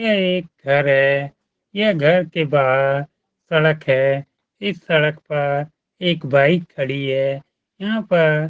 यह एक घर है यह घर के बाहर इस घर के बाहर एक सड़क है इस सड़क पर एक बाइक खड़ी है यहाँ पर--